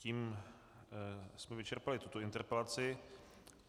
Tím jsme vyčerpali tuto interpelaci.